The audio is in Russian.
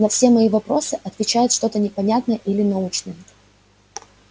на все мои вопросы отвечает что-то непонятное или научное